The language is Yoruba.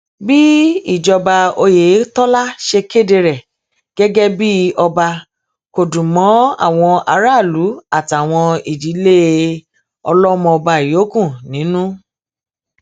bí ìjọba oyetola ṣe kéde rẹ gẹgẹ bíi ọba kò dùn mọ àwọn aráàlú àtàwọn ìdílé ọlọmọọba yòókù nínú